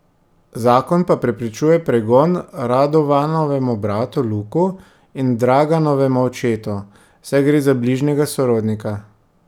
Zakon pa preprečuje pregon Radovanovemu bratu Luku in Draganovemu očetu, saj gre za bližnjega sorodnika.